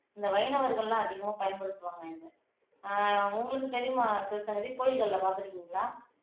இந்த வைணவர்கள் எல்லாம் அதிகமா பயன்படுத்துவாங்க இதை ஆஹ் உங்களுக்கு தெரியுமா சிவசங்கரி கோயில்கள்ல பார்த்திருக்கீங்களா